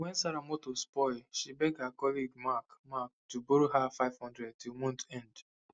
when sarah motor spoil she beg her colleague mark mark to borrow her five hundred till month end